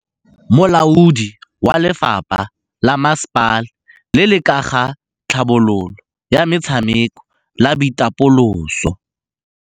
Molaodi wa lefapha la masepala le le ka ga tlhabololo ya metshameko le boitapoloso